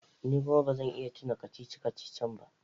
Ni kuma ba zan iya tuna kacici-kacicin ba.